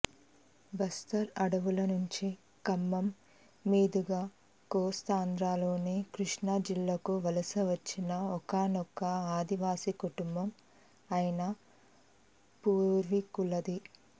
బస్తర్ అడవుల నుంచి ఖమ్మం మీదుగా కోస్తాంధ్రలోని కృష్ణా జిల్లాకు వలస వచ్చిన ఒకానొక ఆదివాసీ కుటుంబం ఆయన పూర్వీకులది